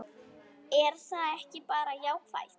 Er það bara ekki jákvætt?